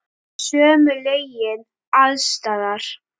Sömu lögin alls staðar.